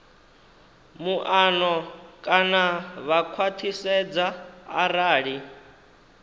muano kana vha khwathisedza arali